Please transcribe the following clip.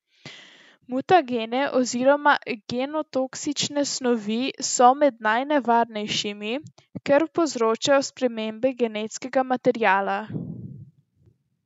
Mutagene oziroma genotoksične snovi so med najnevarnejšimi, ker povzročajo spremembe genetskega materiala.